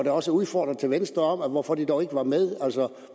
og også udfordringer til venstre om hvorfor de dog ikke var med altså